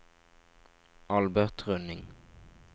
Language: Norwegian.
Albert Rønning